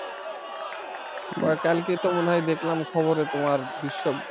কালকে তো মনে হয় দেখলাম খবরে তোমার বিশ্ব